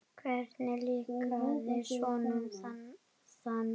Hvernig líkaði honum það?